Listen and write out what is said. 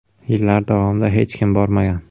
Yillar davomida hech kim bormagan.